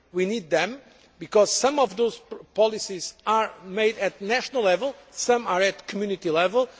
We need them, because some of those policies are made at national level and some are at Community level.